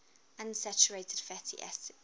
unsaturated fatty acids